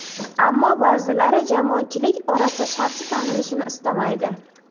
Ammo ba’zilari jamoatchilik orasida shaxsi tanilishini istamaydi.